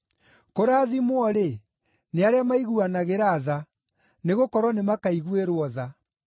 Kũrathimwo-rĩ, nĩ arĩa maiguanagĩra tha, nĩgũkorwo nĩmakaiguĩrwo tha.